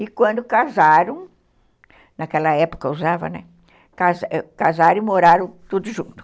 E quando casaram, naquela época usava, né, casaram e moraram tudo junto.